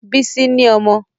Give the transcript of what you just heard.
Bísí ni ọmọ